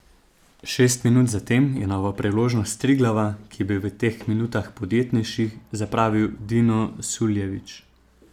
Šest minut zatem je novo priložnost Triglava, ki je bil v teh minutah podjetnejši, zapravil Dino Suljević.